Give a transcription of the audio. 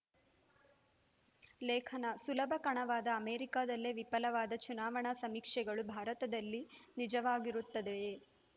ಲೇಖನ ಸುಲಭ ಕಣವಾದ ಅಮೆರಿಕದಲ್ಲೇ ವಿಫಲವಾದ ಚುನಾವಣಾ ಸಮೀಕ್ಷೆಗಳು ಭಾರತದಲ್ಲಿ ನಿಜವಾಗಿರುತ್ತದಯೇ